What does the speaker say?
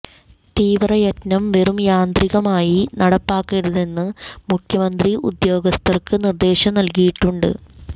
തീവ്രയജ്ഞം വെറും യാന്ത്രികമായി നടപ്പാക്കരുതെന്ന് മുഖ്യമന്ത്രി ഉദ്യോഗസ്ഥര്ക്ക് നിര്ദേശം നല്കിയിട്ടുണ്ട്